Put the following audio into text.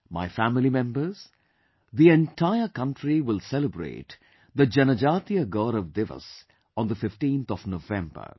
My family members, the entire country will celebrate the 'Janjaatiya Gaurav Diwas' on the 15th of November